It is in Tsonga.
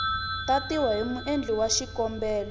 tatiwa hi muendli wa xikombelo